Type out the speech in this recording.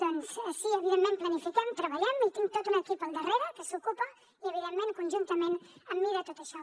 doncs sí evidentment planifiquem treballem i tinc tot un equip al darrere que s’ocupa i evidentment conjuntament amb mi de tot això